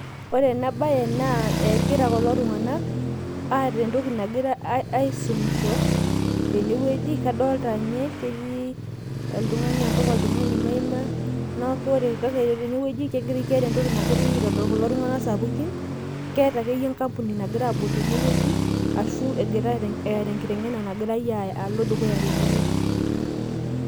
Ore ena bae naa egira kulo tung'anak eeta entoki nagira aisumisho tene weuji, kadolita ninye, ketii oltung'ani mpaka oltung'ani maima, neeku ore tene wueji keeta entoki nagirae aitodol kulo tung'anak sapukin. Keeta akeyie enkampuni nagirae aabol tene wueji, ashu eeta enkiteng'ena nagira alo dukuya tene wueji.